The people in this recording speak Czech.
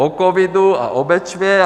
O covidu a o Bečvě.